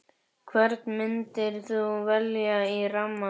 Hvern myndir þú velja í rammann?